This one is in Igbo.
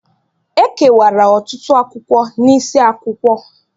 E kewara ọtụtụ akwụkwọ n’isiakwụkwọ